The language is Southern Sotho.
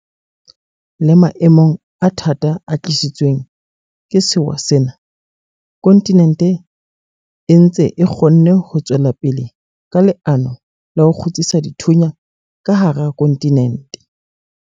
Le maemong a thata a tlisitsweng ke sewa sena, kontinente e ntse e kgonne ho tswela pele ka leano la ho 'kgutsisa dithunya' ka hara kontinente.